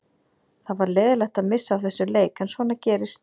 Það var leiðinlegt að missa af þessum leik en svona gerist.